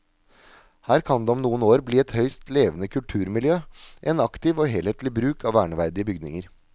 Her kan det om noen år bli et høyst levende kulturmiljø, en aktiv og helhetlig bruk av verneverdige bygninger.